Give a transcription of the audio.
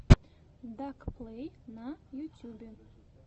дак плэй на ютюбе